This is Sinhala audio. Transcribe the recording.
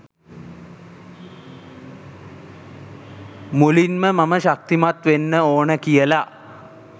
මුලින්ම මම ශක්තිමත් වෙන්න ඕන කියල